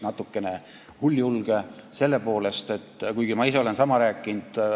Natukene hulljulge, kuigi ma ise olen sama rääkinud.